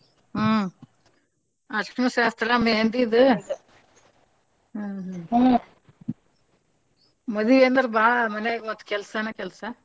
ಹ್ಮ್ ಅರ್ಶನ್ ಶಾಸ್ತ್ರ ಮೆಹಂದಿದ ಮಾದಿವಂದ್ರ ಬಾಳ ಮನ್ಯಾಗ ಮತ್ತ ಕೆಲ್ಸನ ಕೆಲ್ಸ.